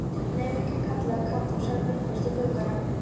Nú kem ég kallaði Kata og sat blýföst í glugganum.